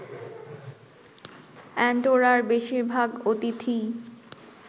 অ্যান্ডোরার বেশির ভাগ অতিথিই